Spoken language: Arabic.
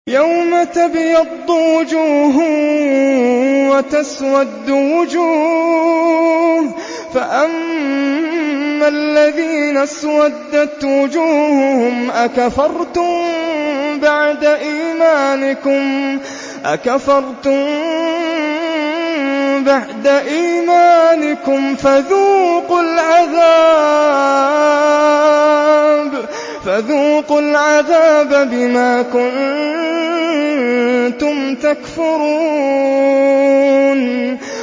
يَوْمَ تَبْيَضُّ وُجُوهٌ وَتَسْوَدُّ وُجُوهٌ ۚ فَأَمَّا الَّذِينَ اسْوَدَّتْ وُجُوهُهُمْ أَكَفَرْتُم بَعْدَ إِيمَانِكُمْ فَذُوقُوا الْعَذَابَ بِمَا كُنتُمْ تَكْفُرُونَ